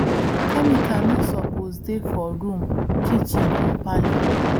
chemical no suppose dey for room kitchen or parlor